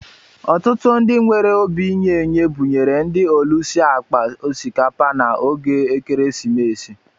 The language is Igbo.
Ọtụtụ ndị nwere obi inye-enye buṅyere ndị ọlusi akpa osikapa na ógè ekeresimesi